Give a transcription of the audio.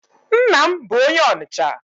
Nna m bụ onye Ọnịcha.